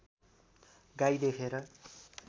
गाई देखेर